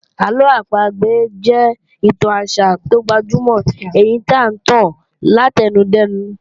Àlọ́ àpagbè jẹ́ ìtàn àṣà tó gbajúmọ̀ èyí tí à ń tàn láti ẹnu dẹ́nu